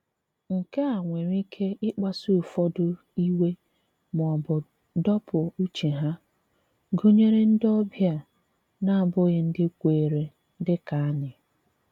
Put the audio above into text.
Nke a nwèrè ike ị̀kpasu ụfọdụ iwe ma ọ bụ dọ̀pụ̀ uche há, gụnyere ndị ọbịa na-abụghị ndị kweere dị kà anyị.